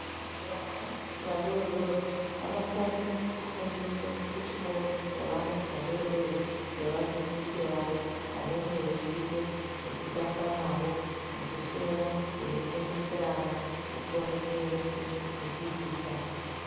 Vana vadoodori vanokone kufundiswa kuchikoro chevana vadoodori ngevadzidzisi vavo vanenge veiite zvekutamba navo nekuswera veifundise ana kukone kuerenge mipikicha.